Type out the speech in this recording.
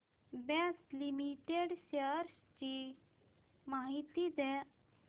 Bosch Limited shares ची माहिती द्या